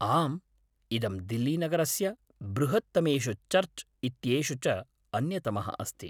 आम्, इदं दिल्लीनगरस्य बृहत्तमेषु चर्च् इत्येषु च अन्यतमः अस्ति।